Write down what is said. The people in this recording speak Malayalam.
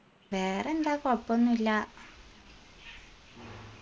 വേറെന്താ കൊഴപ്പോന്നുല്ല